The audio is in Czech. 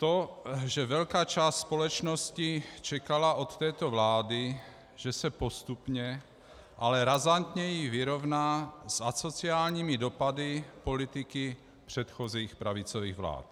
To, že velká část společnosti čekala od této vlády, že se postupně, ale razantněji vyrovná s asociálními dopady politiky předchozích pravicových vlád.